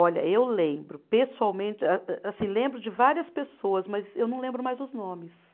Olha, eu lembro, pessoalmente, a assim, lembro de várias pessoas, mas eu não lembro mais os nomes.